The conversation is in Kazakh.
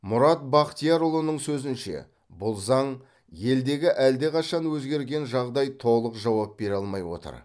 мұрат бақтиярұлының сөзінше бұл заң елдегі әлдеқашан өзгерген жағдай толық жауап бере алмай отыр